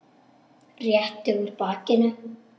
Rétti úr bakinu.